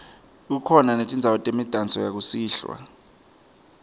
kukhona netindzawo temidanso yakusihlwa